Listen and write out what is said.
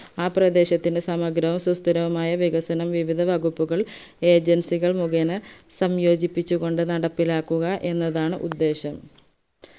ആ പ്രദേശത്തിന്റെ സമഗ്രവും സുസ്ഥിരവുമായ വികസനം വിവിധ വകുപ്പുകൾ agency കൾ മുകേന സംയോജിപ്പിച്ചു കൊണ്ട് നടപ്പിലാക്കുക എന്നതാണ് ഉദ്ദേശം